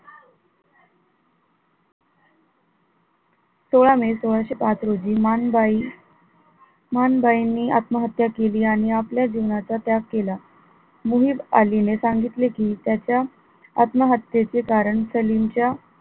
सोळा मे सोळाशे पाच रोजी माणबाई, माणबाईंनी आत्महत्या केली आणि आपल्या जीवनाचा त्याग केला मुहिद अली ने सांगितले कि त्याच्या आत्महत्येचे कारण सलीम च्या,